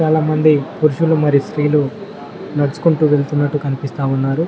పురుషులు మరి స్త్రీలు నడుచుకుంటూ వెళుతున్నట్టు కనిపిస్తా ఉన్నారు.